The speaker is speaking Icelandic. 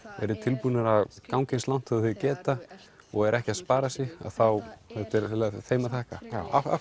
eru tilbúnir að ganga eins langt og þau geta og eru ekki að spara sig þá er þetta þeim að þakka af